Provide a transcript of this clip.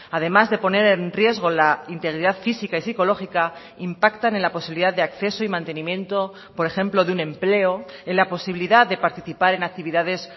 además de poner en riesgo la integridad física y sicológica impactan en la posibilidad de acceso y mantenimiento por ejemplo de un empleo en la posibilidad de participar en actividades